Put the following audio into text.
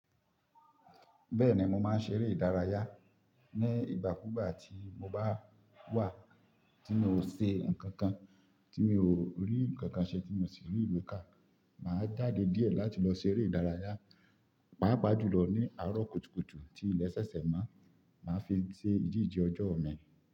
Bẹ́ẹ̀ni, mo máa ń ṣeré ìdárayá ní ìgbàkúgbà tí mo bá wà tí mi ò ṣe nǹkan kan, tí mi ò rí nǹkan kan ṣe, tí mo sì rí ìwe ká. Màá jáde díẹ̀ láti lọ ṣeré ìdárayá, pàápàá jùlọ ní àárọ̀ kùtùkùtù tí ilẹ̀ ṣẹ̀ṣẹ̀ mọ. Màá fi ṣe ìdíje ọjọ́ mi.